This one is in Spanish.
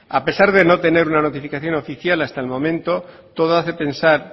a pesar de no tener una notificación oficial hasta el momento todo hace pensar